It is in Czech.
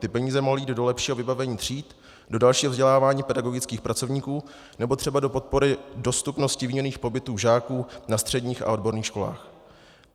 Ty peníze mohly jít do lepšího vybavení tříd, do dalšího vzdělávání pedagogických pracovníků nebo třeba do podpory dostupnosti výměnných pobytů žáků na středních a odborných školách.